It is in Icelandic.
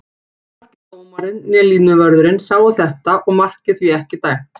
Hvorki dómarinn né línuvörðurinn sáu þetta og markið því ekki dæmt.